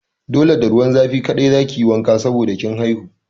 Dole da ruwan zafi kaɗai za ki yi wanka saboda kin haihu!